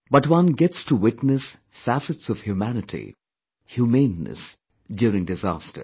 But one gets to witness facets of humanity, humaneness during disasters